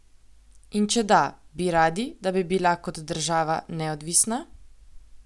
In če da, bi radi, da bi bila kot država neodvisna?